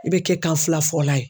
I bɛ kɛ kanfilafɔla ye.